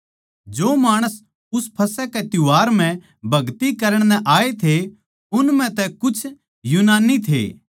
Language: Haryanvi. जो माणस उस फसह के त्यौहार म्ह भगति करण नै आये थे उन म्ह तै कुछ यूनानी थे